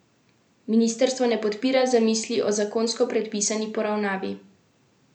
Ministrstvo ne podpira zamisli o zakonsko predpisani poravnavi.